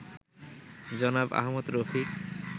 জনাব আহমদ রফিক